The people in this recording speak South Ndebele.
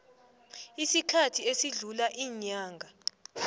isikhathi esidlula iinyanga